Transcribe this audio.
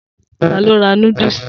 Ta ló ra núdúsì?